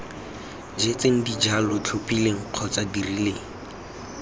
jetseng dijalo tlhophileng kgotsa dirileng